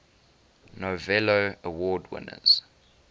novello award winners